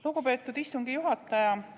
Lugupeetud istungi juhataja!